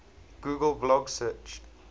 google blog search